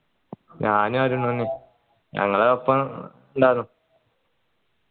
ഞാനും അരുണും എന്നെ ഞങ്ങൾ ഒപ്പം ഇണ്ടാർന്നു